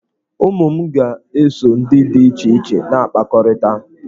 Ụmụ m ga-eso ndị dị iche iche na-akpakọrịta.